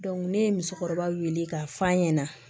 ne ye musokɔrɔba wele k'a f'a ɲɛna